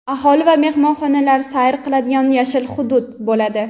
aholi va mehmonlar sayr qiladigan "yashil hudud" bo‘ladi.